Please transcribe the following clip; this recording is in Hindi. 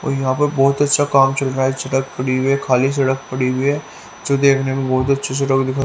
और यहां पर बहुत अच्छा काम चल रहा है सड़क पड़ी हुई है खाली सड़क पड़ी हुई है जो देखने में बहुत अच्छी सड़क--